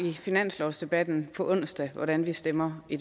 i finanslovsdebatten på onsdag hvordan vi stemmer i